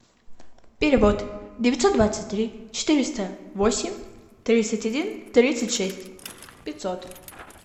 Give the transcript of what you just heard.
перевод девятьсот двадцать три четыреста восемь тридцать один тридцать шесть пятьсот